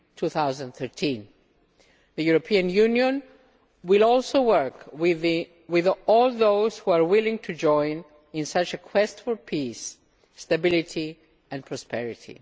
2013. The European Union will also work with all those who are willing to join in such a quest for peace, stability and prosperity.